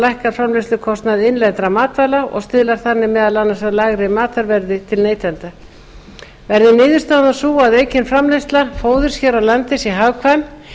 lækkar framleiðslukostnað innlendra matvæla og stuðlar þannig meðal annars að lægra matvælaverði til neytenda verði niðurstaðan sú að aukin framleiðsla fóðurs hér á landi sé hagkvæm